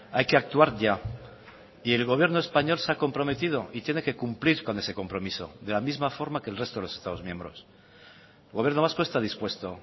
hay que actuar ya y el gobierno español se ha comprometido y tiene que cumplir con ese compromiso de la misma forma que el resto de los estados miembros el gobierno vasco está dispuesto